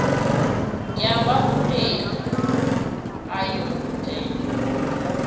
ya vhaholefhali a yo gudela